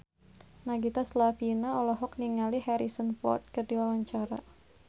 Nagita Slavina olohok ningali Harrison Ford keur diwawancara